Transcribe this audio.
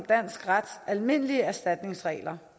dansk rets almindelige erstatningsregler